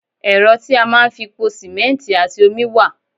Ẹ́rọ tí a máa ń fi pò simẹnti àti omi wá.